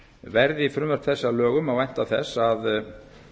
verði frumvörp þessi að lögum má vænta þess að